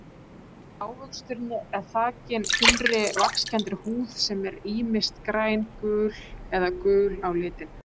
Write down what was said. Ávöxturinn er þakinn þunnri vaxkenndri húð sem er ýmist græn, gul-græn eða gul á litinn.